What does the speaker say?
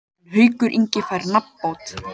En Haukur Ingi fær nafnbótina.